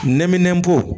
Nɛminɛnbo